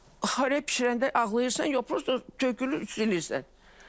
Xoreya bişirəndə ağlayırsan, yox, prosta tökülür, silirsən.